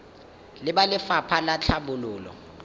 le ba lefapha la tlhabololo